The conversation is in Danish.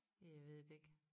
Ja jeg ved det ikke